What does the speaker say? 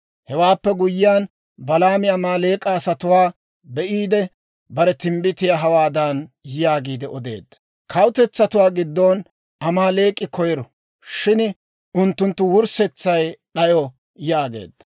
Hewaappe guyyiyaan, Balaami Amaaleek'a asatuwaa be'iide, bare timbbitiyaa hawaadan yaagiide odeedda: «Kawutetsatuwaa giddon Amaaleek'i koyiro; shin unttunttu wurssetsay d'ayo» yaageedda.